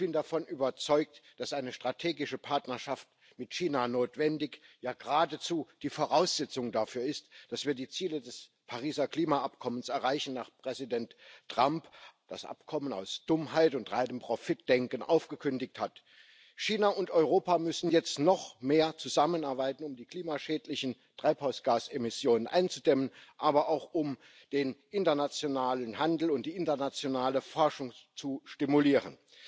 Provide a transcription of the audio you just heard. Ich bin davon überzeugt, dass eine strategische Partnerschaft mit China notwendig, ja geradezu die Voraussetzung dafür ist, dass wir die Ziele des Pariser Klimaschutzübereinkommens erreichen, nachdem Präsident Trump das Abkommen aus Dummheit und reinem Profitdenken aufgekündigt hat. China und Europa müssen jetzt noch mehr zusammenarbeiten, um die klimaschädlichen Treibhausgasemissionen einzudämmen, aber auch, um den internationalen Handel und die internationale Forschung zu stimulieren.